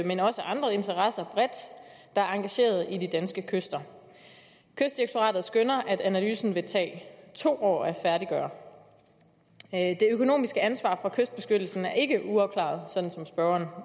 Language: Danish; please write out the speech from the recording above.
men også andre interesser bredt der er engageret i de danske kyster kystdirektoratet skønner at analysen vil tage to år at færdiggøre det økonomiske ansvar for kystbeskyttelsen er ikke uafklaret sådan som spørgeren